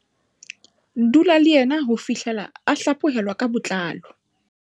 Dula le yena ho fihlela a hlaphohelwa ka botlalo.